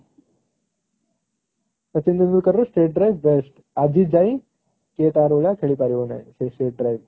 ସଚିନ ତେନ୍ଦୁଲକର ର state best ଆଜି ଯାଏ କିଏ ତାର ଭଳିଆ ଖେଳି ପାରିବ ନାହିଁ ସେ sheet ରେ